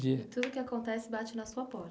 dia. E Tudo que acontece bate na sua porta.